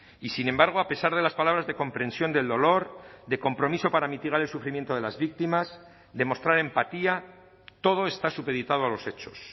y sin embargo a pesar de las palabras de comprensión del dolor de compromiso para mitigar el sufrimiento de las víctimas demostrar empatía todo está supeditado a los hechos